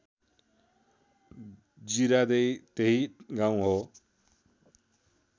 जीरादेई त्यही गाउँ हो